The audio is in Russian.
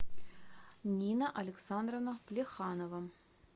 нина александровна плеханова